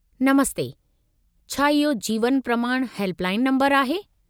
नमस्ते! छा इहो Jeevan Pramaan helpline number आहे?